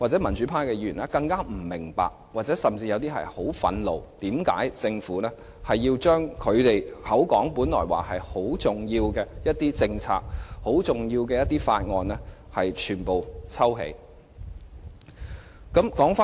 民主派議員更不明白，他們甚至會十分憤怒，為甚麼政府要將其聲稱很重要的政策或法案全部抽起。